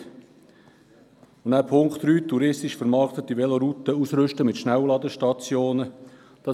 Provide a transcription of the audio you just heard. Mit der Ziffer 3 sollen touristisch vermarktete Velorouten mit Schnellladestationen ausgerüstet werden.